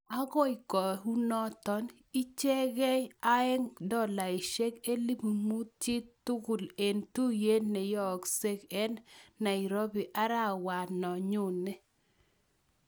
Akoi kenunoot ichekeei aeeng', dolaishek 5,000 chi tugul eng' tuiyet neyookse ing' nairobi arawet no nyoni